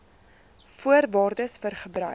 voorwaardes vir gebruik